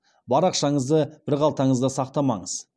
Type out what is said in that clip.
бар ақшаңызды бір қалтаңызда сақтамаңыз